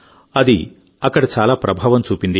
అది అక్కడ చాలా ప్రభావం చూపింది